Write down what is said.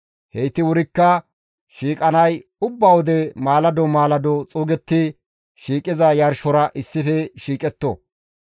Heyti wurikka shiiqanay ubba wode maalado maalado xuugetti shiiqiza yarshora issife shiiqetto.